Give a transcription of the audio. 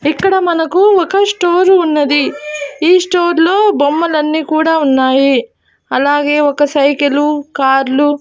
ఇక్కడ మనకు ఒక స్టోర్ ఉన్నది ఈ స్టోర్ లో బొమ్మలన్నీ కూడా ఉన్నాయి అలాగే ఒక సైకిలు కార్లు .